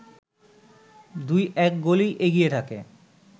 ২-১ গোলেই এগিয়ে থাকে